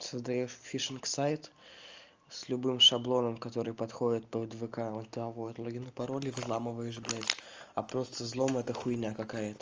создаёшь фишинг-сайт с любым шаблоном который подходит под вк он там вводит логин и пароль и взламываешь блядь а просто взлом эта хуйня какая-то